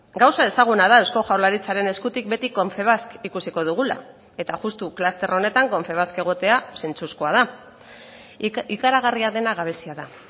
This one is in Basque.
gauza ezaguna da eusko jaurlaritzaren eskutik beti confebask ikusiko dugula eta juxtu kluster honetan confebask egotea zentzuzkoa da ikaragarria dena gabezia da